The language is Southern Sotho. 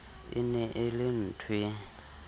e ne e le nthoe